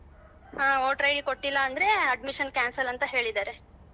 ಹ voter ID ಕೊಟ್ಟಿಲ್ಲ ಅಂದ್ರೆ admission cancel ಅಂತ ಹೇಳಿದಾರೆ.